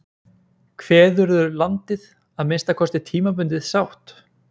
Kveðurðu landið, að minnsta kosti tímabundið, sátt?